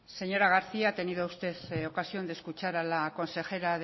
señora garcía ha tenido usted ocasión de escuchar a la consejera